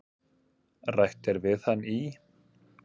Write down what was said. Rætt er við hann í